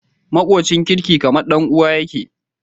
Makocin kirki kaman dan uwa yake